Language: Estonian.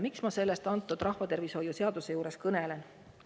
Miks ma sellest rahvatervishoiu seaduse juures kõnelen?